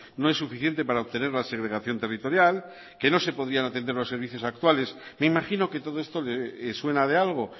no es suficiente para obtener la segregación territorial que no se podían atender los servicios actuales me imagino que todo esto le suena de algo